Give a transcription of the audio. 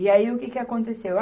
E aí, o que que aconteceu?